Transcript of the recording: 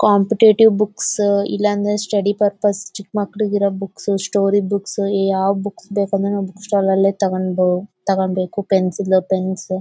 ಕಂಪ್ಯೂಟೇಟಿವ್ books ಇಲ್ಲ ಅಂದ್ರೆ study purpose ಚಿಕ್ಕ್ ಮಕ್ಕಳಿಗೆರೋ ಬುಕ್ಸ್ ಸ್ಟೋರಿ ಬುಕ್ಸ್ ಯಾವ ಬುಕ್ಸ್ ಬೇಕು ಅಂದ್ರೆ ನಾವು ಬುಕ್ ಸ್ಟಾಲ್ ನಲ್ಲೆ ತಗೊಂಬೊ ತಗೋಂಬೇಕು ಪೆನ್ಸಿಲ್ ಪೆನ್ಸ್ .